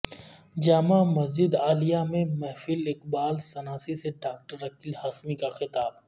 جامع مسجد عالیہ میں محفل اقبال شناسی سے ڈاکٹر عقیل ہاشمی کا خطاب